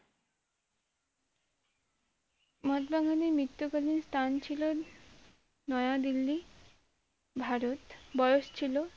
মহাত্মা গান্ধীর মৃত্যু কালিন স্থান ছিল নয়া দিল্লি ভারত বয়স ছিল,